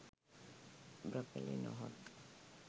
broccoli නොහොත්